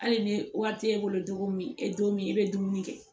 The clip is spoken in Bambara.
Hali ni wari t'e bolo cogo min e don min e bɛ dumuni kɛ